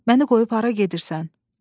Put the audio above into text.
Məni qoyub hara gedirsən?